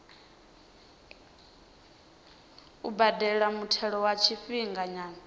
u badela muthelo wa tshifhinganyana